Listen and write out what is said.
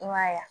I m'a ye